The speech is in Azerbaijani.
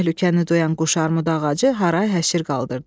Təhlükəni duyan quşarmudu ağacı haray-həşir qaldırdı.